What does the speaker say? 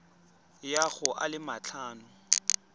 ya go a le matlhano